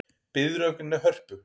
Biðröð vegna Hörpu